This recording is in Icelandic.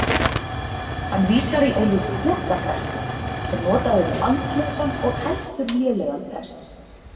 Hann vísar í orðið pokaprestur sem notað er um andlausan og heldur lélegan prest.